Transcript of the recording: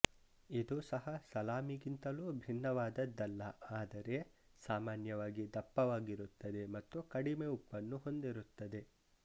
ಇದು ಸಹ ಸಲಾಮಿಗಿಂತಲೂ ಭಿನ್ನವಾದದ್ದಲ್ಲ ಆದರೆ ಸಾಮಾನ್ಯವಾಗಿ ದಪ್ಪವಾಗಿರುತ್ತದೆ ಮತ್ತು ಕಡಿಮೆ ಉಪ್ಪನ್ನು ಹೊಂದಿರುತ್ತದೆ